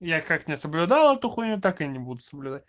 я как не соблюдал эту хуйню так и не буду соблюдать